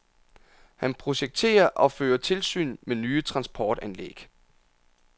Han projekterer og fører tilsyn med nye transportanlæg.